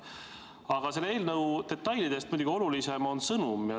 Aga selle eelnõu detailidest muidugi olulisem on sõnum.